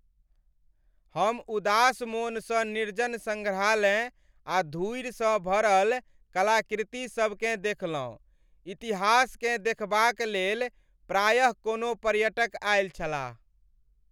हम उदास मोनसँ निर्जन सङ्ग्रहालय आ धूरिसँ भरल कलाकृति सबकेँ देखलहुँ। इतिहासकेँ देखबाक लेल प्रायेः कोनो पर्यटक आएल छलाह।